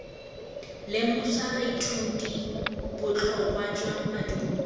lemosa baithuti botlhokwa jwa maduo